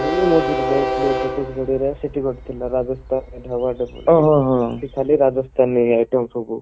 ମୁଁ ବି ମଝିରେ ଯାଇଥିଲି ଛତିଶଗଡ ର ସେଠି ଗୋଟେ ଥିଲା ରାଜସ୍ଥାନ ଢାବା ରାଜସ୍ଥାନୀ item ସବୁ